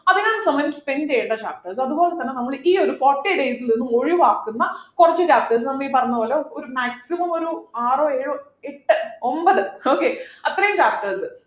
അധികം സമയം spend ചെയ്യേണ്ട അതുപോലെതന്നെ നമ്മള് ഈ ഒരു forty days ൽനിന്നും ഒഴിവാക്കുന്ന കുറച്ചു chapters നമ്മൾ ഈ പറഞ്ഞ പോലെ ഒരു maximum ഒരു ആറോ ഏഴോ എട്ട് ഒമ്പത് okay അത്രയും chapters